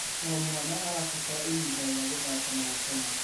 O mwana arabatara ihinda rĩa gũthaka na gũkenera.